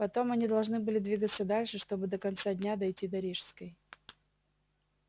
потом они должны были двигаться дальше чтобы до конца дня дойти до рижской